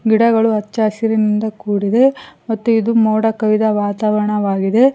ಗಿಡಗಳು ಹಚ್ಚಹಸಿರಿನಿಂದ ಕೂಡಿದೆ ಮತ್ತು ಇದು ಮೋಡಕವಿದ ವಾತಾವರಣ ಆಗಿದೆ.